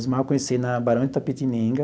Osmar eu conheci ele na Barão de Itapetininga,